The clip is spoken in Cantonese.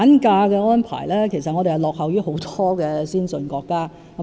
至於產假，其實本港落後於很多先進國家。